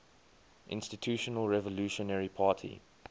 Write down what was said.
institutional revolutionary party